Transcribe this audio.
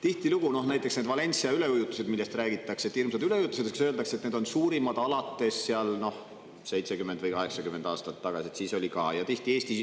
Tihtilugu räägitakse hirmsate üleujutuste korral ‒ näiteks need Valencia üleujutused ‒, et need on suurimad 70 või 80 aasta jooksul, aga et varem oli neid ka.